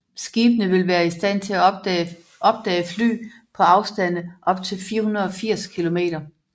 Skibene vil være i stand til at opdage fly på afstande op til 480 kilometer